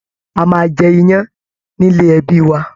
A máa jẹ iyán nílé ẹbí wa